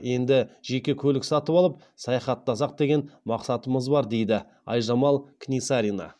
енді жеке көлік сатып алып саяхаттасақ деген мақсатымыз бар дейді айжамал книсарина